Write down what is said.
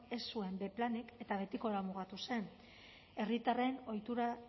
ez zuen b planik eta betikora mugatu zen herritarren ohitura